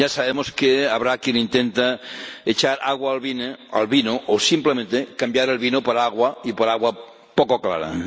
Ya sabemos que habrá quien intente echar agua al vino o simplemente cambiar el vino por agua, y por agua poco clara.